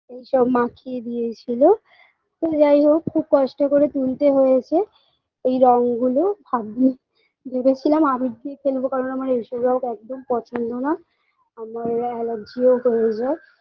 এই সব মাখিয়ে দিয়েছিল তো যাই হোক খুব কষ্ট করে তুলতে হয়েছে এই রং গুলো ভাবছি ভেবে ছিলাম আবির দিয়ে খেলব কারণ আমার এই সব রং একদম পছন্দ না আবার আমার এলার্জিও হয়ে যায়